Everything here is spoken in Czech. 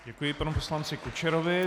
Děkuji panu poslanci Kučerovi.